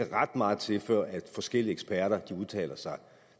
ret meget til før forskellige eksperter udtaler sig